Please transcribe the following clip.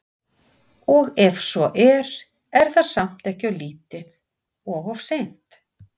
Og ef svo er, er það samt ekki of lítið og of seint?